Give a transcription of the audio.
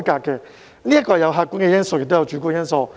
這有客觀因素，亦有主觀因素。